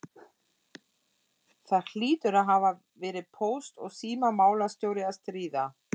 Það hlýtur að hafa verið póst- og símamálastjóri að stríða!